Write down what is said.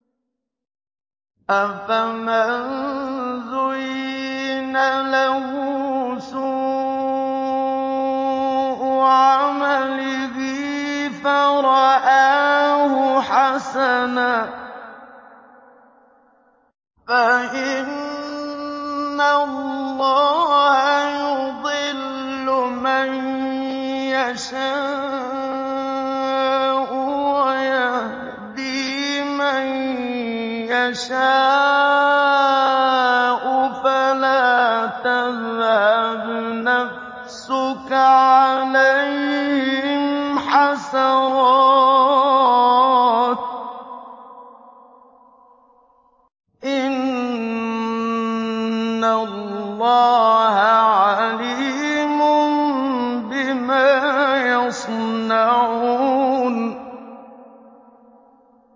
أَفَمَن زُيِّنَ لَهُ سُوءُ عَمَلِهِ فَرَآهُ حَسَنًا ۖ فَإِنَّ اللَّهَ يُضِلُّ مَن يَشَاءُ وَيَهْدِي مَن يَشَاءُ ۖ فَلَا تَذْهَبْ نَفْسُكَ عَلَيْهِمْ حَسَرَاتٍ ۚ إِنَّ اللَّهَ عَلِيمٌ بِمَا يَصْنَعُونَ